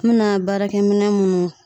N bɛna baarakɛ minɛ munnu